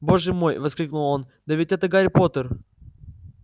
боже мой воскликнул он да ведь это гарри поттер